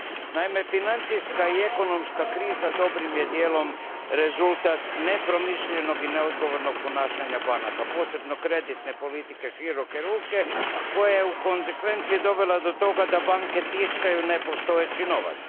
Naime, financijska i ekonomska kriza dobrim je dijelom rezultat nepromišljenog i neodgovornog ponašanja banaka, posebno kreditne politike široke ruke koje je posljedično dovela do toga da banke tiskaju nepostojeći novac.